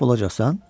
Məhv olacaqsan?